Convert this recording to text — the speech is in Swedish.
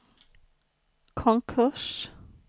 konkurs